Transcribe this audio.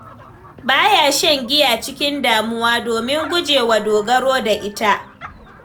Ba ya shan giya a cikin damuwa domin gujewa dogaro da ita.